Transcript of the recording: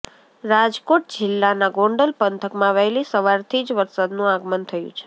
રાજકોટ જિલ્લાનાં ગોંડલ પંથકમાં વહેલી સવારથી જ વરસાદનું આગમન થયું છે